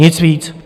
Nic víc.